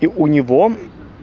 и у него